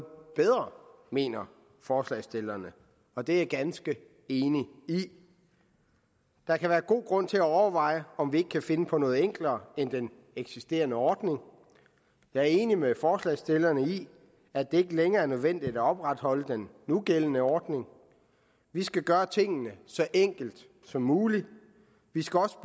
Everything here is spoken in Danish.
bedre mener forslagsstillerne og det er jeg ganske enig i der kan være god grund til at overveje om vi ikke kan finde på noget enklere end den eksisterende ordning jeg er enig med forslagsstillerne i at det ikke længere er nødvendigt at opretholde den nugældende ordning vi skal gøre tingene så enkelt som muligt vi skal også